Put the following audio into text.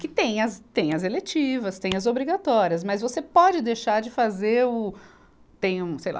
Que tem as, tem as eletivas, tem as obrigatórias, mas você pode deixar de fazer o, tem um, sei lá...